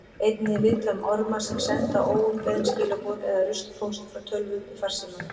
Einnig er vitað um orma sem senda óumbeðin skilaboð eða ruslpóst frá tölvum í farsíma.